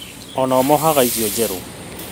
O nao mohaga icio njerũ